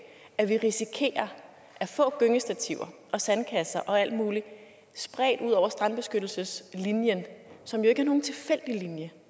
at vi risikerer at få gyngestativer og sandkasser og alt muligt spredt ud over strandbeskyttelseslinjen som jo ikke er nogen tilfældig linje